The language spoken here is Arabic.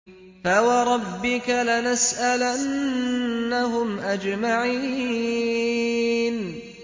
فَوَرَبِّكَ لَنَسْأَلَنَّهُمْ أَجْمَعِينَ